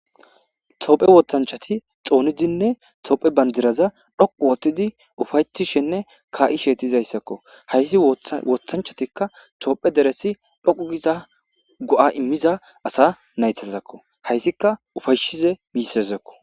Tophe woxachati xonidinne tophe padiraza dhoqu otidi ufayetishen ka'she dizaysako hays wothachatikka tophe deres dhoqu giza go'a imiza asa naytazakko haysikka ufaysiza misheko